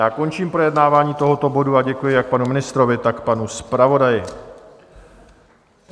Já končím projednávání tohoto bodu a děkuji jak panu ministrovi, tak panu zpravodaji.